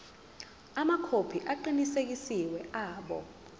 amakhophi aqinisekisiwe abo